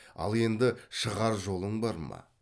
ал енді шығар жолың бар ма